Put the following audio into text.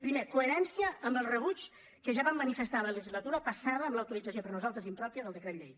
primer coherència amb el rebuig que ja vam manifestar la legislatura passada a la utilització per nosaltres impròpia del decret llei